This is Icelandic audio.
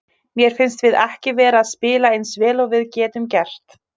Mér finnst við ekki vera að spila eins vel og við getum gert.